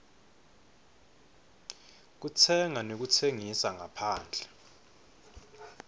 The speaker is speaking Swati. kutsenga nekutsengisa ngaphandle